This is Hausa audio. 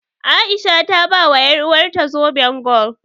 A'isha ta bawa ƴaruwarta zoben gwal.